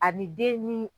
A ni den ni